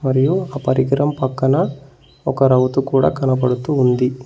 మరియు ఒక పరికరం పక్కన ఒక రౌతు కూడా కనబడుతూ ఉంది.